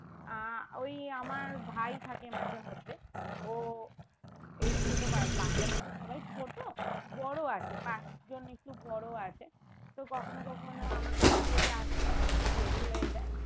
আহ ওই আমার ভাই থাকে মাঝে মধ্যে ও এই ছোট বা~বাচ্চা গুলোতো সবাই ছোট বড়ো আছে পাঁচ জন একটু বড়ো আছে তো কখনো কখনো আমার কাজ থেকে আসতে যদি একটু দেরি হয়ে যায়